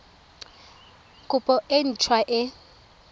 kopo e nt hwa e